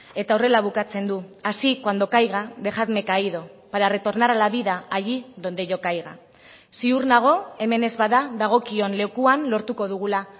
eta horrela bukatzen du así cuando caiga dejadme caído para retornar a la vida allí donde yo caiga ziur nago hemen ez bada dagokion lekuan lortuko dugula